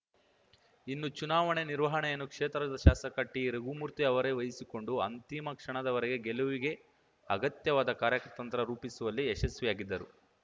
ಇನ್ನು ಚುನಾವಣೆ ನಿರ್ವಹಣೆಯನ್ನು ಕ್ಷೇತ್ರದ ಶಾಸಕ ಟಿರಘುಮೂರ್ತಿ ಅವರೇ ವಹಿಸಿಕೊಂಡು ಅಂತಿಮ ಕ್ಷಣದವರೆಗೆ ಗೆಲುವಿಗೆ ಅಗತ್ಯವಾದ ಕಾರ್ಯತಂತ್ರ ರೂಪಿಸುವಲ್ಲಿ ಯಶಸ್ವಿಯಾಗಿದ್ದರು